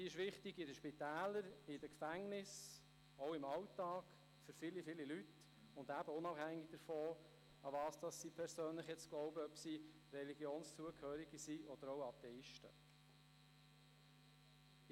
Sie ist wichtig in den Spitälern, in den Gefängnissen, auch im Alltag für viele, viele Leute, unabhängig davon, woran sie persönlich glauben, ob sie einer Religion zugehören oder Atheisten sind.